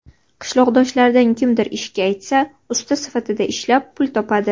Qishloqdoshlaridan kimdir ishga aytsa, usta sifatida ishlab, pul topadi.